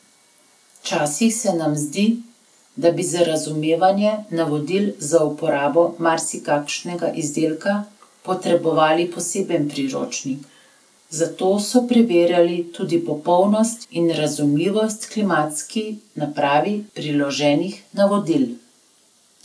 Včasih se nam zdi, da bi za razumevanje navodil za uporabo marsikakšnega izdelka potrebovali poseben priročnik, zato so preverjali tudi popolnost in razumljivost klimatski napravi priloženih navodil.